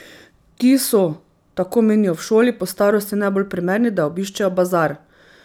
Ti so, tako menijo v šoli, po starosti najbolj primerni, da obiščejo bazar.